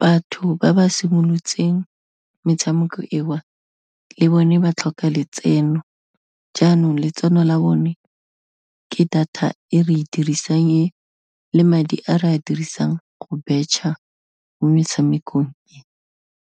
batho ba ba simolotseng metshameko e o, le bone ba tlhoka letseno jaanong letseno la bone ke data e re dirisang e, le madi a re a dirisang go betšha, mo metshamekong e.